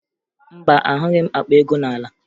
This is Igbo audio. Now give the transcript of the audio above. Mba, ahụghị m akpa ego n'ala